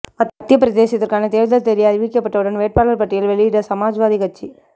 மத்திய பிரதேசத்துக்கான தேர்தல் தேதி அறிவிக்கப்பட்டவுடன் வேட்பாளர் பட்டியல் வெளியிட்ட சமாஜ்வாதி கட்சி